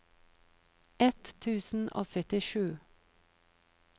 ett tusen og syttisju